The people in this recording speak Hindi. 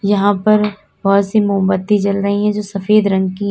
यहां पर बहोत सी मोमबत्ती जल रही है जो सफेद रंग की हैं।